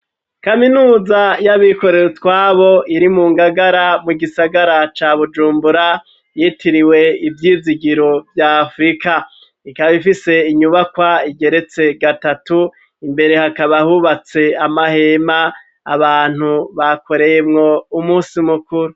Kaminuza y'abikorewe itwabo iri mu ngagara mu gisagara ca bujumbura yitiriwe ivyizigiro vyafurika ikabifise inyubakwa igeretse gatatu imbere hakaba hubatse amahema abantu bakoreyemwo umusi mukuru.